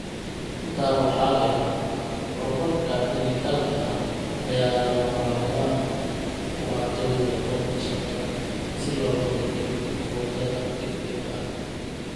Intaa waxaa dheer, horumarka dhijitaalka ah ayaa lagamamaarmaan u ah jawiga goobta shaqada si loogu beddelo moodada degdega ah.